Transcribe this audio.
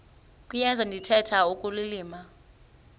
kuyenza ndithetha ukulilima